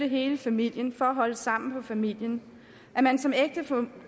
hele familien for at holde sammen på familien at man som